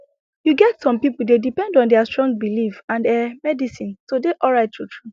you get some people dey depend on their strong belief and ehh medicine to dey alright truetrue